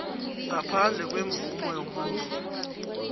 ngaphandle kwemvumo yomuntu